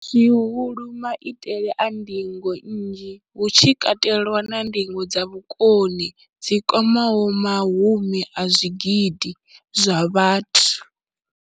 Zwihulu, maitele a ndingo nnzhi, hu tshi katelwa na ndingo dza vhukoni dzi kwamaho mahumi a zwigidi zwa vhathu.